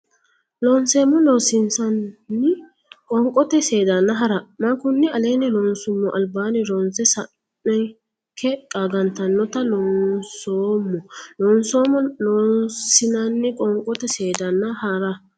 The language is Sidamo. Loonseemmo Loossinanni Qoonqote seedanna hara ma konni aleenni loonsummo albaanni ronse sa anke qaagantannote Loonseemmo Loonseemmo Loossinanni Qoonqote seedanna hara.